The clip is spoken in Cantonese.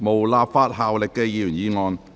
無立法效力的議員議案。